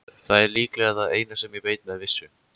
Það er líklega það eina sem ég veit með vissu.